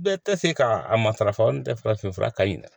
Bɛɛ tɛ se ka a matarafa o tɛ farafinfura ka ɲi dɛ